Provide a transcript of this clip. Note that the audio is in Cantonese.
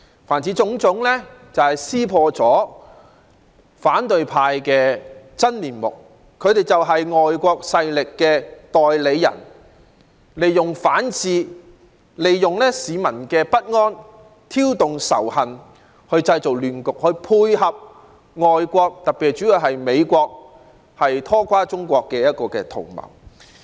凡此種種，皆揭破了反對派的真面目，他們就是外國勢力的代理人，利用反智和市民的不安挑動仇恨，製造亂局，從而配合外國拖垮中國的圖謀。